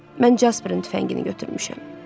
Mən Casperin tüfəngini götürmüşəm.